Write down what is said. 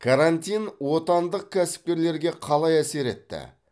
карантин отандық кәсіпкерлерге қалай әсер етті